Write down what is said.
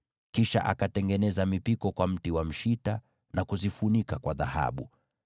Kisha akatengeneza mipiko ya mti wa mshita na kuzifunika kwa dhahabu.